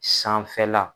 Sanfɛla